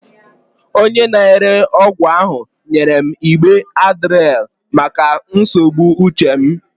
Onye na-ere ọgwụ ahụ nyere m igbe Adderall maka nsogbu uche m.